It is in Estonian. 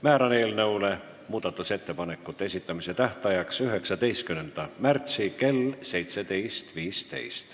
Määran eelnõu muudatusettepanekute esitamise tähtajaks 19. märtsi kell 17.15.